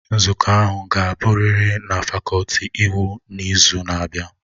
Nzukọ ahụ ga-abụrịrị na fakọlti iwu n'izu na-abịa!